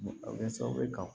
A bɛ kɛ sababu ye ka